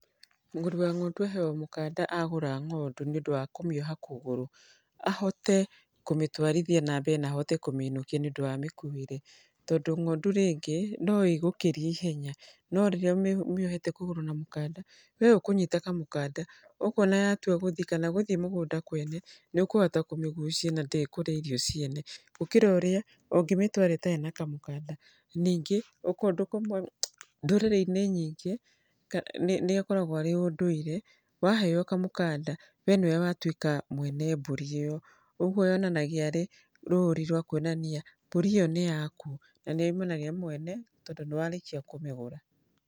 Mũgũri wa ng'ondu aheagwo mũkanda agũra ng'ondu nĩ ũndũ wa kũmĩoha kũgũrũ, ahote kũmĩtũarithia na mbere na ahote kũmĩinũkia nĩ ũndũ wa mĩkuĩre. Tondũ ng'ondu rĩngĩ no ĩgũkĩrie ihenya no rĩrĩa ũmĩohete kũgũrũ na kamũkanda, we ũkũnyita kamũkanada. Ũguo ona yatua gũthiĩ kana gũthiĩ mũgũnda kwene nĩ ũkũhota kũmĩgucia na ndĩkũrĩa irio ciene, gũkĩra ũrĩa ũngĩmĩtũara ĩtarĩ na kamũkanda. Ningĩ ndũrĩrĩ-inĩ nyingĩ nĩ akoragũo arĩ ũndũire, waheo kamũkanda we nĩwe watuĩka mwene mbũri ĩyo. Ũguo yonanagia arĩ rũri rwa kuonania mbũri ĩyo nĩ yaku na nĩyoimana na mwene tondũ nĩ warĩkia kũmĩgũra.